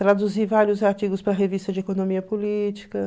Traduzir vários artigos para a revista de economia política.